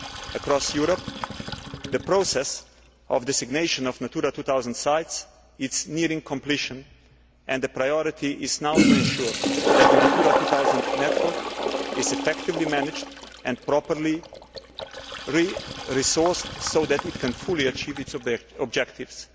Across Europe, the process of designation of Natura 2000 sites is nearing completion and the priority is now to ensure that the Natura 2000 network is effectively managed and properly resourced so that it can fully achieve its objectives.